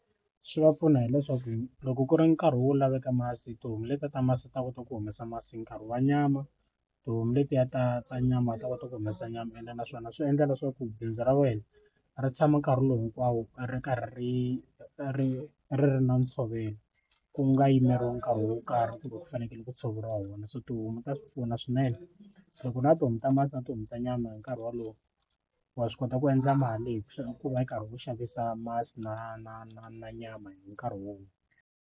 Swi va pfuna hileswaku loko ku ri nkarhi wo laveka masi tihomu letiya ta masi ta kota ku humesa masi nkarhi wa nyama tihomu letiya ta ta nyama ti ta kota ku humesa nyama ene naswona swi endla leswaku bindzu ra wena ra tshama nkarhi lowu hinkwawo ri karhi ri ri ri ri na ntshovelo ku nga yimeriwi nkarhi wo karhi kumbe ku fanekele ku tshoveriwa wona so tihomu ta swi pfuna swinene loko na tihomu ta masi na tihomu ta nyama hi nkarhi wolowo wa swi kota ku endla mali hi ku va ri karhi u xavisa masi na na na na nyama hi nkarhi wun'we.